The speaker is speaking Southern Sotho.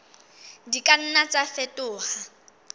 di ka nna tsa fetoha